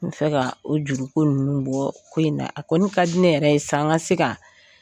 N fɛ ka o juruko ninnu bɔ ko in na a kɔni ka di ne yɛrɛ ye sa n ka se ka